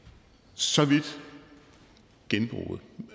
så vidt genbruget